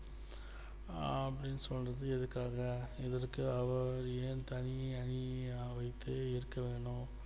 அப்படின்னு சொல்லிட்டு இருக்காங்க இவருக்கு அவர் ஏன் தனி அணியை வைத்து இருக்க வேண்டும்